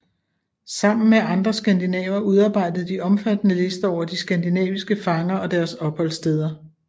Sammen med andre skandinaver udarbejdede de omfattende lister over de skandinaviske fanger og deres opholdssteder